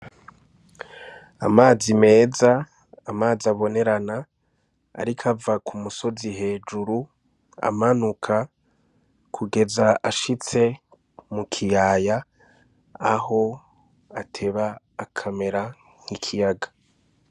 Amazi meza amazi abonerana ariko ava ku musozi hejuru amanuka kugeza ashitse mu kiyaya aho ateba akamera nk'ikiyaga.